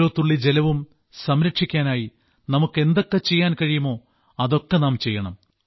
ഓരോ തുള്ളി ജലവും സംരക്ഷിക്കാനായി നമുക്ക് എന്തൊക്കെ ചെയ്യാൻ കഴിയുമോ അതൊക്കെ നാം ചെയ്യണം